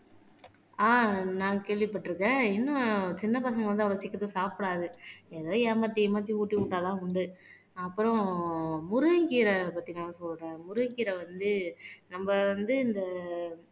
ஆஹ் நான் கேள்விப்பட்டிருக்கேன் இன்னும் சின்ன பசங்க வந்து அவ்வளவு சீக்கிரத்துல சாப்பிடாது ஏதோ ஏமாத்தி ஏமாத்தி ஊட்டி விட்டாதான் உண்டு அப்புறம் முருங்கைக்கீரை பத்தி நான் சொல்றேன் முருங்கைக்கீரை வந்து நம்ம வந்து இந்த